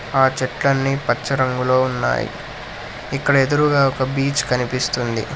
ఆ చెట్లన్నీ పచ్చ రంగులో ఉన్నాయి ఇక్కడ ఎదురుగా ఒక బీచ్ కనిపిస్తుంది.